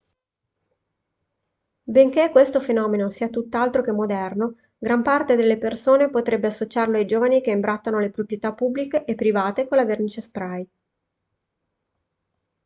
benché questo fenomeno sia tutt'altro che moderno gran parte delle persone potrebbe associarlo ai giovani che imbrattano le proprietà pubbliche e private con la vernice spray